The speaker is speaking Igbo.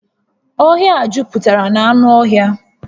Ọhịa a juputara na anụ ọhịa